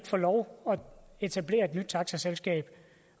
få lov at etablere et nyt taxaselskab